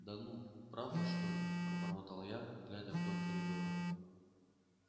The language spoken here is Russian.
да ну правда что ли пробормотал я глядя вдоль коридора